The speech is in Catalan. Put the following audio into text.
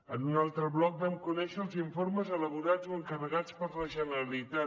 en un altre bloc vam conèixer els informes elaborats o encarregats per la generalitat